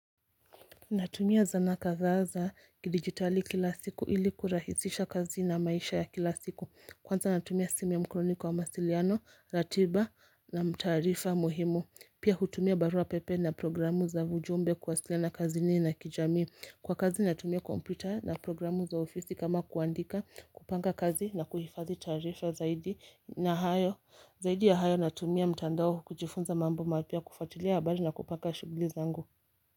Natumia zana kadhaa za kidigitali kila siku ili kurahisisha kazi na maisha ya kila siku Kwanza natumia simu ya mkononi kwa mawasiliano, ratiba na tarifa muhimu. Pia hutumia barua pepe na programu za ujumbe kuwasiliana kazini na kijamii Kwa kazi natumia kompyuta na programu za ofisi kama kuandika kupanga kazi na kuhifadhi tarifa zaidi na hayo. Zaidi ya hayo natumia mtandao kujifunza mambo mapya kufuatilia habari na kupaka shughuli zangu.